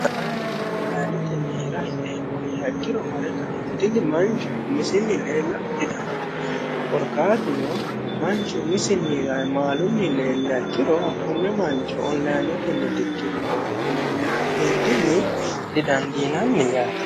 ayiino onlinetenni hira hidheemmo yiiha ikkiro ayiino mare umisinni leela didandaanno korkaatuno manchu umisinni maalunni leeliha ikkiro konne mancho onilinetenni hidhino woyi dikkirino yine ka'neentinni didandiinann yaate.